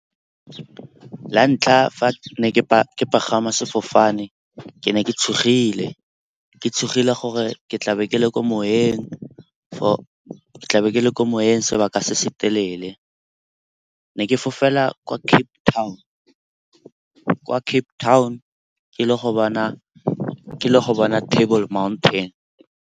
La ntlha fa ke ne ke pagama sefofane ke ne ke tshogile, ke tshogile gore ke tlabe ke le ko moyeng sebaka se se telele. Ne ke fofela kwa Cape Town, ke ile go bona Table Mountain.